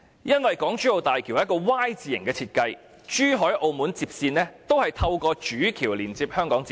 因為港珠澳大橋是一個 "Y" 字型設計，珠海和澳門接線也會透過主橋連接到香港接線。